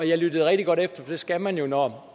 jeg lyttede rigtig godt efter for det skal man jo når